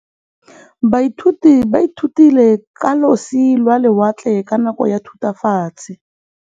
Baithuti ba ithutile ka losi lwa lewatle ka nako ya Thutafatshe.